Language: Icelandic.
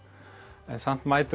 en samt mætir hún